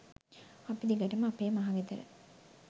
අපි දිගටම අපේ මහ ගෙදර